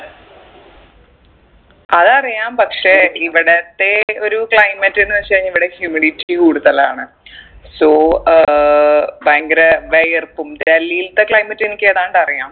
അതറിയാം പക്ഷെ ഇവിടത്തെ ഒരു climate എന്ന് വെച്ചുകഴിഞ്ഞാ ഇവിടെ humidity കൂടുതലാണ് so അഹ് ഭയങ്കര വിയർപ്പും ഡൽഹിത്തെ climate എനിക്ക് ഏതാണ്ടറിയാം